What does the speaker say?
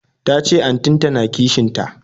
Tace antin ta na kishin ta